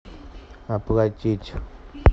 оплатить